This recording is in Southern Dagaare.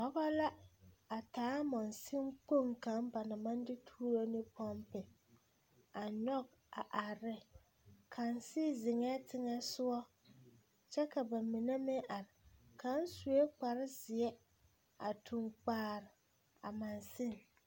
Dɔba la a taa monsunkpoŋ kaŋ ba naŋ maŋ de tuuro ne pɔmpe a nyɔge a are ne kaŋ sigi zeŋɛɛ teŋɛsogɔ kyɛ ka ba mine meŋ are kaŋ sue kparezeɛ a toŋ kpare a monsuni.